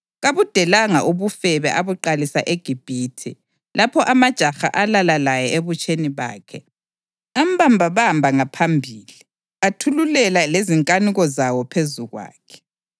Kabudelanga ubufebe abuqalisa eGibhithe, lapho amajaha alala laye ebutsheni bakhe, ambambabamba ngaphambili, athululela lezinkanuko zawo phezu kwakhe.